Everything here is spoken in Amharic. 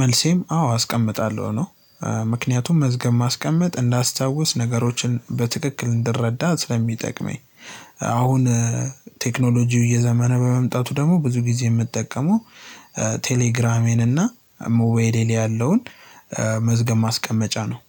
መልሴም አዎ አስቀምጣለሁ ነው። ምክንያቱም መዝገብ ማስቀመጥ እንዳስታውስ ነገሮችን በትክክል እንድረዳ ስለሚጠቅመኝ። አሁን ቴክኖሎጂው እየዘመነ በመምጣቱ ደግሞ ብዙ ጊዜ የምጠቀመው ቴሌግራሜን እና ሙባይሌ ላይ ያለውን መዝገብ ማስቀመጫ ነው።